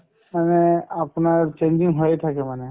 মানে আপোনাৰ changing হৈয়ে থাকে মানে